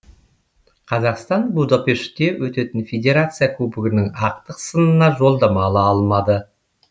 қазақстан будапештте өтетін федерация кубогының ақтық сынына жолдама ала алмады